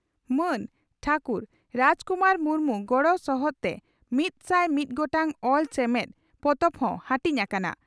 ᱢᱟᱱ ᱴᱷᱟᱹᱠᱩᱨ ᱨᱟᱡᱽ ᱠᱩᱢᱟᱨ ᱢᱩᱨᱢᱩ ᱜᱚᱲᱚᱥᱚᱦᱚᱫ ᱛᱮ ᱢᱤᱛᱥᱟᱭ ᱢᱤᱛ ᱜᱚᱴᱟᱝ 'ᱚᱞ ᱪᱮᱢᱮᱫ' ᱯᱚᱛᱚᱵ ᱦᱚᱸ ᱦᱟᱹᱴᱤᱧ ᱟᱠᱟᱱᱟ ᱾